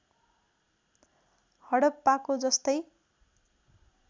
हडप्पाको जस्तै